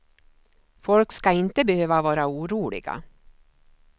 Folk ska inte behöva vara oroliga.